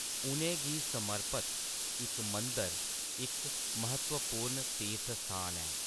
उ’नें गी समर्पत इक मंदर इक म्हत्तवपूर्ण तीर्थ स्थान ऐ।